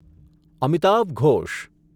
Amitav Ghosh